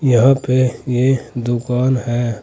यहां पे ये दुकान है।